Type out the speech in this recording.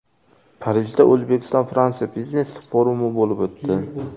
Parijda O‘zbekistonFransiya biznes-forumi bo‘lib o‘tdi.